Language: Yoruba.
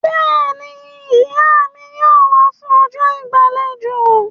Bẹ́ẹ̀ni, Ìyá mi yóò wá fún ọjọ́ ìgbàlejò